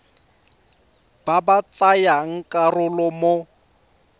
ba ba tsayang karolo mo